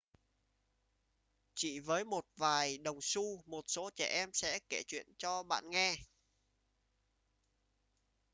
chỉ với một vài đồng xu một số trẻ em sẽ kể chuyện cho bạn nghe